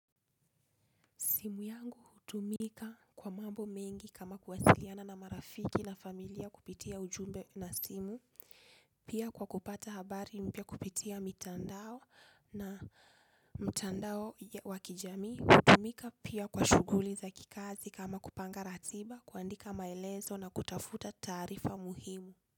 Simu yangu hutumika kwa mambo mengi kama kuwasiliana na marafiki na familia kupitia ujumbe na simu. Pia kwa kupata habari mpya kupitia mtandao wa kijamii. Hutumika pia kwa shughuli za kikazi kama kupanga ratiba, kuandika maelezo na kutafuta taarifa muhimu.